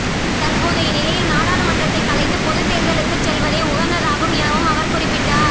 தற்போதைய நிலையில் நாடாளுமன்றத்தைக் கலைத்துப் பொதுத் தேர்தலுக்குச் செல்வதே உகந்ததாகும் எனவும் அவர் குறிப்பிட்டார்